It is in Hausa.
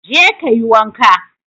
Je kayi wanka.